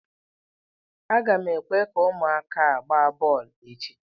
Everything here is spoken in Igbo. Aga m ekwe ka ụmụaka gbaa bọọlụ echi.